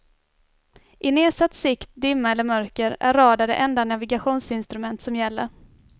I nedsatt sikt, dimma eller mörker, är radar det enda navigationsinstrument som gäller.